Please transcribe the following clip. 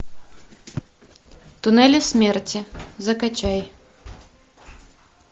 туннели смерти закачай